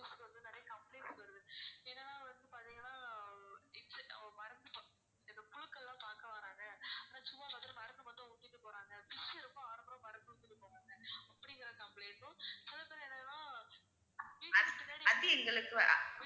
அத்~ அது எங்களுக்கு வ~ அ~